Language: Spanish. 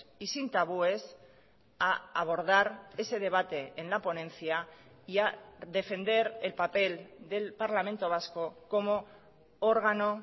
y sin tabúes a abordar ese debate en la ponencia y ha defender el papel del parlamento vasco como órgano